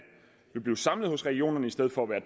vil blive samlet i regionerne i stedet for at være